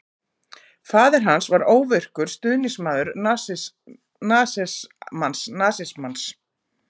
Faðir hans var óvirkur stuðningsmaður nasismans.